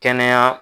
Kɛnɛya